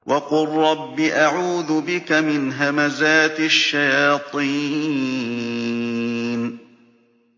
وَقُل رَّبِّ أَعُوذُ بِكَ مِنْ هَمَزَاتِ الشَّيَاطِينِ